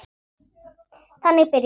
Þannig byrjaði það.